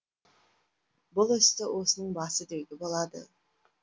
бұл істі осының басы деуге болады